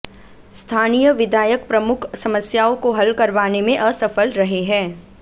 स्थानीय विधायक प्रमुख समस्याओं को हल करवाने में असफल रहे हैं